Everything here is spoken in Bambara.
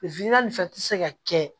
fɛn fɛn tɛ se ka kɛ